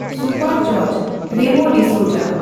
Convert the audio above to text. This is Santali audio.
ᱥᱩᱯᱚᱨ ᱡᱚᱡᱽᱽ ᱨᱮᱢᱳ ᱰᱤ ᱥᱚᱳᱡᱟ ᱾